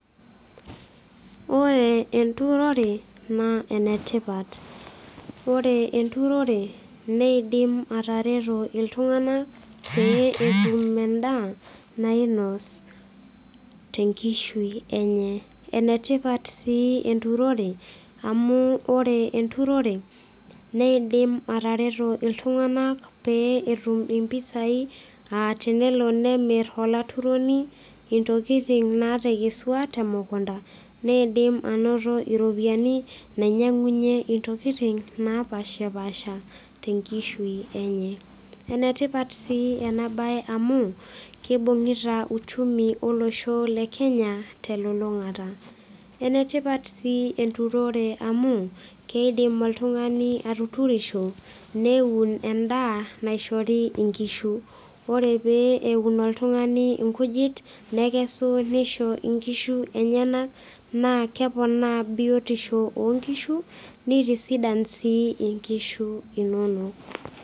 Ore enturore naa enetipat ore enturore neidim atareto iltung'anak pee etum endaa nainos tenkishui enye enetipat sii enturore amu ore enturore neidim atareto iltung'anak pee etum impisai atenelo nemirr olaturoni intokiting natekesua temukunta niidim anoto iropiyiani nainyiang'unyie intokiting napashipasha tenkishui enye enetipat sii ena baye amu kibung'ita uchumi olosho le kenya telulung'ata enetipat sii enturore amu keidim oltung'ani atuturisho neun endaa naishori inkishu ore pee eun oltung'ani inkujit nekesu nisho inkishu enyenak naa keponaa biotisho onkishu nitisidan sii inkishu inonok.